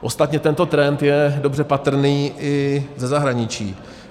Ostatně tento trend je dobře patrný i ze zahraničí.